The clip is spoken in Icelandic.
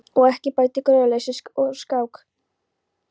Og ekki bætti gróðurleysið úr skák.